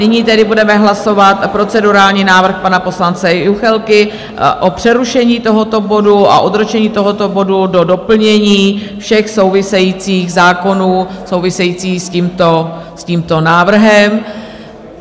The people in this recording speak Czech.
Nyní tedy budeme hlasovat procedurální návrh pana poslance Juchelky o přerušení tohoto bodu a odročení tohoto bodu do doplnění všech souvisejících zákonů, souvisejících s tímto návrhem.